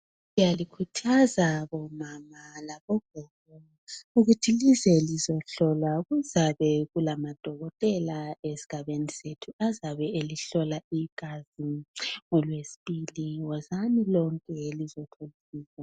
Siyalikhuthaza bo mama labogogo ukuthi lize lizohlolwa. Kuzabe kulama dokotela esigabeni sethu azabe elihlola igazi ngoLwesibili .Wozani lonke lizohlolwa .